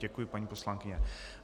Děkuji, paní poslankyně.